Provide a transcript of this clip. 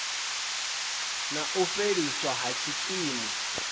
na u fheliswa ha tshikimu